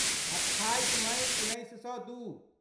अठाइस मइ उन्नैस सए दू